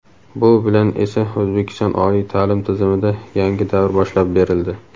Bu bilan esa – O‘zbekiston oliy ta’lim tizimida yangi davr boshlab berildi.